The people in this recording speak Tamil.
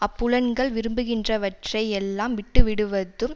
அப்புலன்கள் விரும்புகின்றவற்றை யெல்லாம் விட்டு விடுவதும்